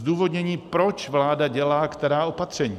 Zdůvodnění, proč vláda dělá která opatření.